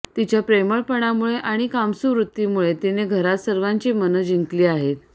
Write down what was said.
तिच्या प्रेमळपणामुळे आणि कामसू वृत्तीमुळे तिने घरात सर्वांची मनं जिंकली आहेत